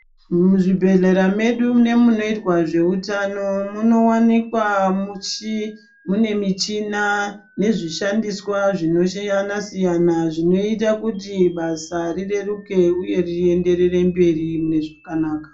Muzvibhehlera medu nemunoitwa zveutano munowanikwa mune muchina nezvishandiswa zvinosiyana siyana zvinoita kuti basa rireruke uye riyenderere mberi mune zvakanaka.